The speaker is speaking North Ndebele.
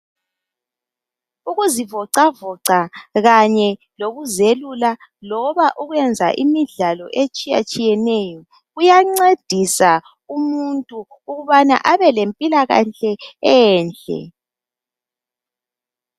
Ukuzivocavoca kanye lokuzelula, loba ukuyenza imidlalo etshiyatshiyeneyo kuyancedisa umuntu ukubana abelempilakahle enhle.